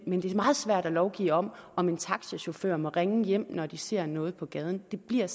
men det er meget svært at lovgive om om taxachauffører må ringe hjem når de ser noget på gaden det bliver